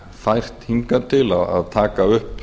fært hingað til að taka upp